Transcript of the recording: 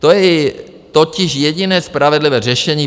To je totiž jediné spravedlivé řešení.